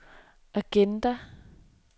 agenda